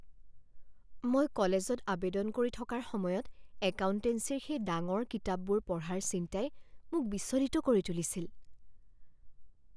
মই কলেজত আৱেদন কৰি থকাৰ সময়ত একাউণ্টেঞ্চিৰ সেই ডাঙৰ কিতাপবোৰ পঢ়াৰ চিন্তাই মোক বিচলিত কৰি তুলিছিল।